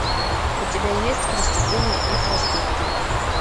у тебя есть преступления и проступки